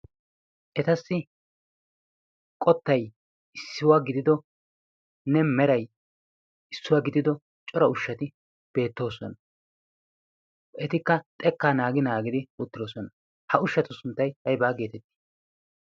Etassi qottai issiwaa gididonne merai issuwaa gidido cora ushshati beettoosoana etikka xekkaa naagi naagidi uttidoosona ha ushshatu sunttai haibaa geetettii?